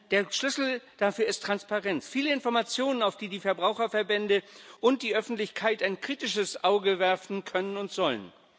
Der Schlüssel dafür ist Transparenz viele Informationen, auf die die Verbraucherverbände und die Öffentlichkeit ein kritisches Auge werfen können und sollen.